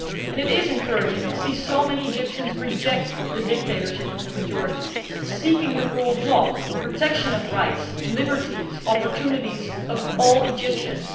It is encouraging to see so many Egyptians reject the dictatorship of the majority, seeking the rule of law and the protection of the rights, liberties and opportunities of all Egyptians.